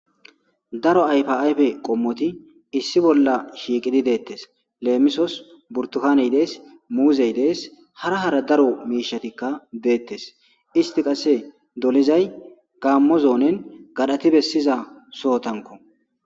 Daro ayfa ayfe qommoti issi bolla shiiqidi deettes leemisos burtukany dees muuzey dees hara hara daro miishatikka deettes isti qasse dolizay gaammo zoonen gadhati bessiza sohotanko.